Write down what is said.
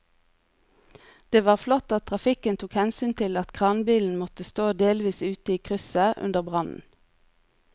Det var flott at trafikken tok hensyn til at kranbilen måtte stå delvis ute i krysset under brannen.